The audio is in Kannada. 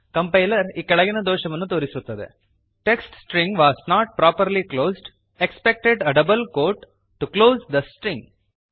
ಕಾಂಪ್ಲೈಯರ್ ಈ ಕೆಳಗಿನ ದೋಷವನ್ನು ತೋರಿಸುತ್ತದೆ text string was not properly closed expected a double quote to close the string